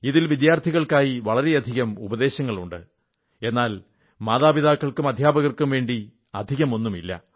ഇതിൽ വിദ്യാർഥികൾക്കായി വളരെയധികം ഉപദേശങ്ങളുണ്ട് എന്നാൽ മാതാപിതാക്കൾക്കും അധ്യാപകർക്കും വേണ്ടി അധികമൊന്നുമില്ല